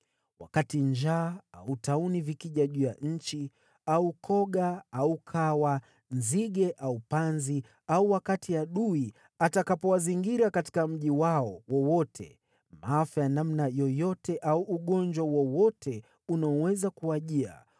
“Wakati njaa au tauni vikija juu ya nchi, au koga au kawa, nzige au panzi, au wakati adui atakapowazingira katika mji wao wowote, maafa ya namna yoyote au ugonjwa wowote unaoweza kuwajia,